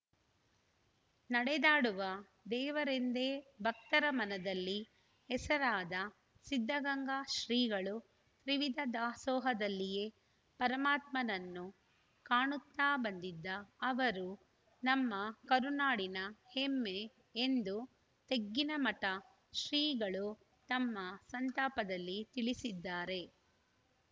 ನಡೆದಾಡುವ ದೇವರೆಂದೇ ಭಕ್ತರ ಮನದಲ್ಲಿ ಹೆಸರಾದ ಸಿದ್ದಗಂಗಾ ಶ್ರೀಗಳು ತ್ರಿವಿಧ ದಾಸೋಹದಲ್ಲಿಯೇ ಪರಮಾತ್ಮನನ್ನು ಕಾಣುತ್ತಾ ಬಂದಿದ್ದ ಅವರು ನಮ್ಮ ಕರುನಾಡಿನ ಹೆಮ್ಮೆ ಎಂದು ತೆಗ್ಗಿನಮಠ ಶ್ರೀಗಳು ತಮ್ಮ ಸಂತಾಪದಲ್ಲಿ ತಿಳಿಸಿದ್ದಾರೆ